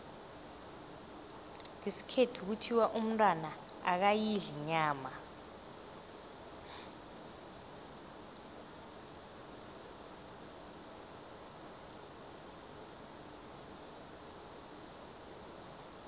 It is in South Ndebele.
ngesikhethu kuthiwa umntwana akayidli inyama